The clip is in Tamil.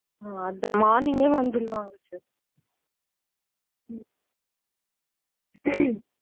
உம் அதான் morning யே வந்துருவாங்க sir.